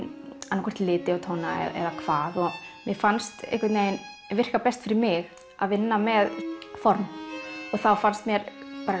annaðhvort liti og tóna eða hvað mér fannst virka best fyrir mig að vinna með form og þá fannst mér